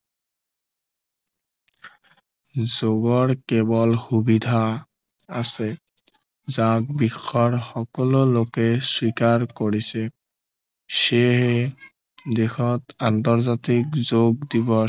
যোগৰ কেৱল সুবিধা আছে যাক দেশৰ সকলো লোকে স্বীকাৰ কৰিছে সেয়েহে দেশত আন্তৰ্জাতিক যোগ দিৱস